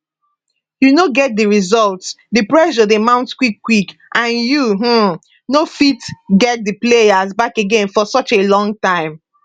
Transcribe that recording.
you no get di results di pressure dey mount quickquick and you um no fit get [di players] back again for such a long time